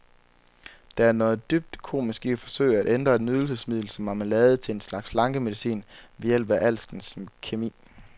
Der er noget dybt komisk i at forsøge at ændre et nydelsesmiddel som marmelade til en slags slankemedicin ved hjælp af alskens kemi.